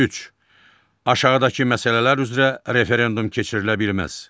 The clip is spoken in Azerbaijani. Üç, aşağıdakı məsələlər üzrə referendum keçirilə bilməz.